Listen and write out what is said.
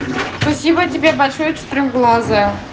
спасибо тебе большое четырехглазая